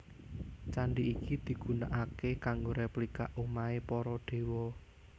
Candi iki digunaaké kanggo replika omahé para Dewa